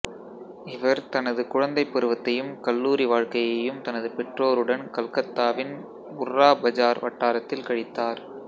இவர் தனது குழந்தைப் பருவத்தையும் கல்லூரி வாழ்க்கையையும் தனது பெற்றோருடன் கல்கத்தாவின் புர்ராபஜார் வட்டாரத்தில் கழித்தார்